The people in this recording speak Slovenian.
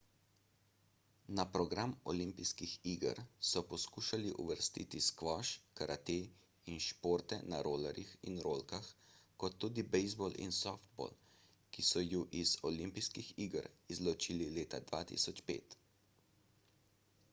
na program olimpijskih iger so poskušali uvrstiti skvoš karate in športe na rolerjih in rolkah kot tudi bejzbol in softball ki so ju iz oi izločili leta 2005